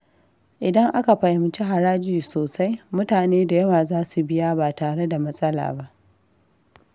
Idan aka fahimci haraji sosai, mutane da yawa za su biya ba tare da matsala ba.